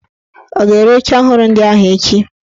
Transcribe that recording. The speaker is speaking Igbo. Ọ ga-ere oche ọhụrụ ndị ahụ echi?